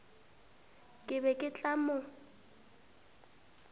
ke be ke tla mo